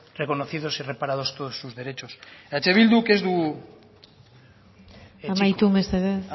reconocidos y reparados todos sus derechos eh bilduk ez du amaitu mesedez